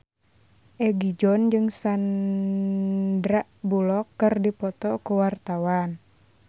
Egi John jeung Sandar Bullock keur dipoto ku wartawan